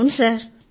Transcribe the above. ఔను సర్